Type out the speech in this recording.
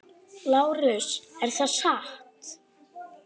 LÁRUS: Er það satt?